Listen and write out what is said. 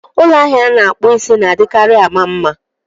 Ụlọ ahịa ana-akpụ isí na-adịkarị ama mma